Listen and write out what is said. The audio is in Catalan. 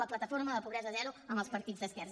la plataforma pobresa zero amb els partits d’esquerres